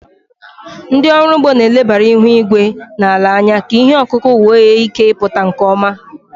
Ndị ọrụ ugbo na-elebara ihu igwe na ala anya ka ihe ọkụkụ ha wee ike pụta nke ọma.